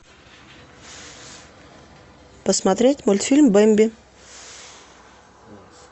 посмотреть мультфильм бэмби